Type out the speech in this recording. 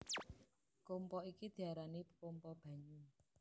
Kompa iki diarani kompa banyu